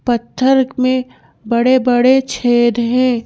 पत्थर में बड़े बड़े छेद हैं।